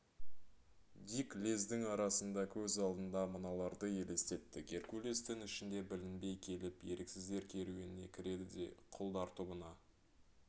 дик лездің арасында көз алдына мыналарды елестетті геркулес түн ішінде білінбей келіп еріксіздер керуеніне кіреді де құлдар тобына